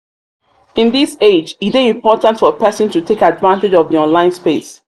in this age e de important for persin to take advantage of di online space